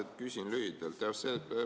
Ma küsin lühidalt.